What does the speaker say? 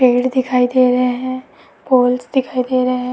पेड़ दिखाई दे रहे हैं। पोल्स दिखाई दे रहे हैं।